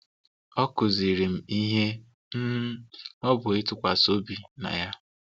Ọ kụziiri m ihe um ọ bụ ịtụkwasị obi na Ya.